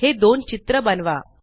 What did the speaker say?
हे दोन चित्र बनवा